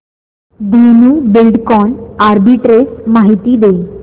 Dhenu Buildcon arbitrage माहिती दे